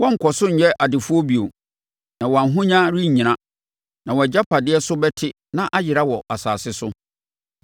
Wɔrenkɔ so nyɛ adefoɔ bio, na wɔn ahonya rennyina, na wɔn agyapadeɛ so bɛte na ayera wɔ asase so.